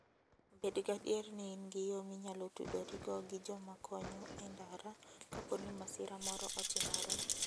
Bed gadier ni in gi yo minyalo tudorigo gi joma konyo e ndara kapo ni masira moro otimore.